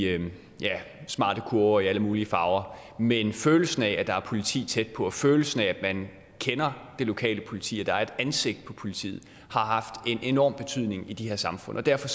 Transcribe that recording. smarte kurver i alle mulige farver men følelsen af at der er politi tæt på og følelsen af at man kender det lokale politi at der er et ansigt på politiet har haft en enorm betydning i de her samfund og derfor